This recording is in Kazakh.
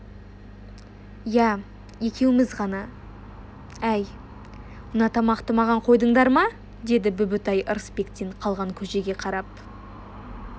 иә екеуміз ғана әй мына тамақты маған қойдыңдар ма деді бүбітай ырысбектен қалған көжеге қарап